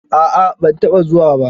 A'a ban taɓa zuwa ba.